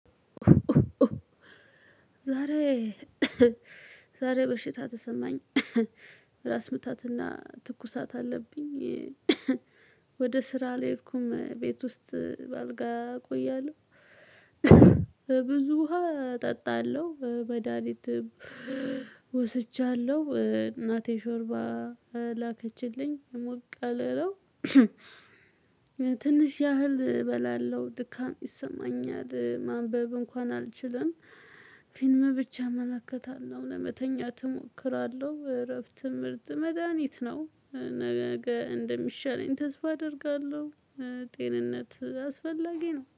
ዛሬ ዛሬ በሽታ ተሰማኝ ራስ ምታትና ትኩሳት አለብኝ። ወደ ስራ አልሄድኩም ቤት ውስጥ በአልጋ እቆያለሁ። ብዙ ውሃ እጠጣለሁ መዳኒትም ወስጃለሁ እናቴ ሾርባ ላከችልኝ ሞቅያለ ነው። ትንሽ ያህል እበላለሁ ድካም ይሰማኛል ማንበብ እንኳን አልችልም። ፊልም ብቻ እመለከታለሁ ለመተኛት እሞክራለሁ እረፍት ምርጥ መድሃኒት ነው። ነገ እንደሚሻለኝ ተስፋ አደርጋለሁ። ጤንነት አስፈላጊ ነው